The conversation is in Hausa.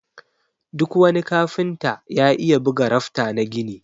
Duk wani kafinta ya iya buga rafta na gini.